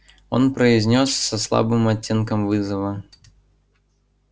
он произнёс со слабым оттенком вызова